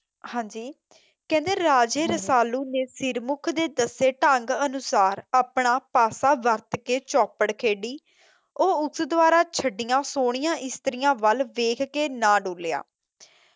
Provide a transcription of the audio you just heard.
ਹਾਂਜੀ ਕਹਿੰਦੇ ਰਾਜੇ ਰਸਾਲੂ ਨੇ ਸਿਰਮੁਖ ਦੇ ਦੱਸੇ ਢੰਗ ਅਨੁਸਾਰ ਆਪਣਾ ਫਾਫਾ ਵੱਤ ਕੇ ਚੋਪੜ ਖੇਡੀ ਉਹ ਉਸ ਦੁਆਰਾ ਛੱਡੀਆਂ ਸੋਹਣੀਆਂ ਇਸਤਰੀਆਂ ਵੱਲ ਦੇਖ ਕੇ ਨਾ ਡੁੱਲਿਆ